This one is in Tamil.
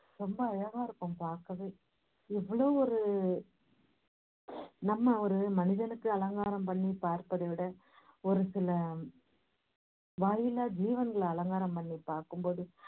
ரொம்ப அழகா இருக்கும் பாக்கவே இவ்வளோ ஒரு நம்ம ஒரு மனிதனுக்கு அலங்காரம் பண்ணி பார்ப்பதைவிட ஒரு சில வாரில்லா ஜீவங்களை அலங்காரம் பண்ணி பாக்கும்போது